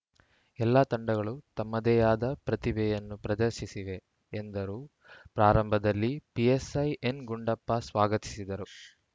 ಎಲ್ಲಾ ತಂಡಗಳು ತಮ್ಮದೇಯಾದ ಪ್ರತಿಭೆಯನ್ನು ಪ್ರದರ್ಶಿಸಿವೆ ಎಂದರು ಪ್ರಾರಂಭದಲ್ಲಿ ಪಿಎಸ್‌ಐ ಎನ್‌ಗುಡ್ಡಪ್ಪ ಸ್ವಾಗತಿಸಿದರು